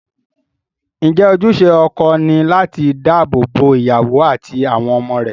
Ǹjẹ́ ojúṣe ọkọ ni láti dáàbò bo ìyàwó àti àwọn ọmọ rẹ̀?